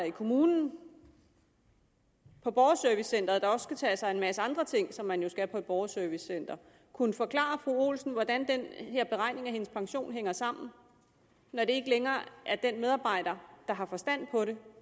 i kommunen på borgerservicecenteret der også skal tage sig af en masse andre ting som man jo skal på et borgerservicecenter kunne forklare fru olsen hvordan den her beregning af hendes pension hænger sammen når det ikke længere er den medarbejder der har forstand på det